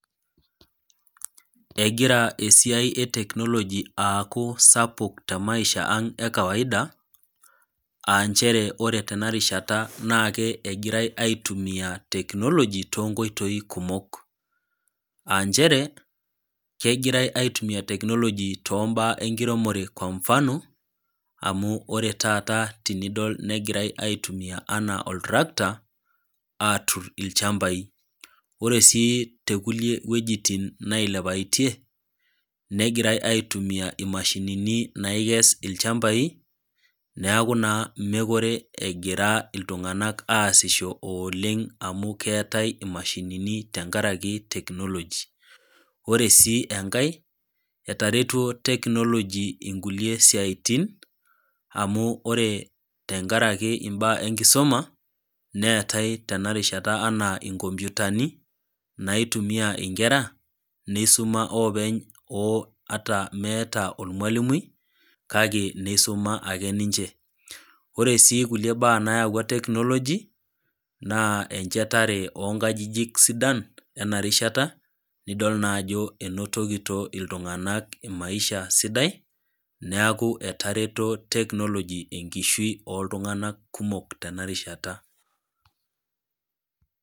Egira esiai etechnology aaku sapuk temaisha ang ekawaida aanchere ore tenarishata na ke egirae aitumia technology too nkoitoi kumok aanchere kegirae aitumia technology toombaa enkiremore kwa mfano amu ore taata tenidol negirae aitumia anaa oltractor atur ilchambai. Oresii tekulie wuejitin nailepaitie ,negirae aitumia imashinini naikes ilchmbai niaku naa mekure egira iltunganak aasisho oleng amu keetae imashini tenkaraki technology . Ore sii enkae etaretuo technology nkulie siatin amu ore tenkaraki imbaa enkisuma neetae tenarishata anaa inkomputani naitumia inkera neisuma openy oo ata meeta ormwalimui kake neisuma akeninche . Ore sii kulie baa nayawua technology naa enchetare oonkajijik sidan enarishata nidol naa ajo enotokito iltunganak maisha sidai , niaku etareto technology enkishui oltunganak kumok tenarishata.